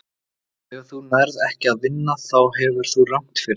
Þegar þú nærð ekki að vinna þá hefur þú rangt fyrir þér.